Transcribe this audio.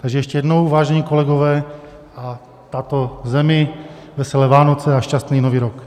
Takže ještě jednou, vážení kolegové a tato země, veselé Vánoce a šťastný nový rok!